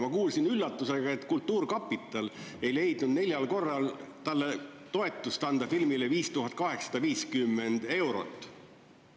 Ma kuulsin üllatusega, et kultuurkapital ei leidnud neljal korral anda sellele filmile 5850 eurot toetust.